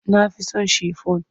Na fi so shifon.